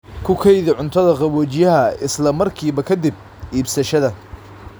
Ku kaydi cuntada qaboojiyaha isla markiiba ka dib iibsashada.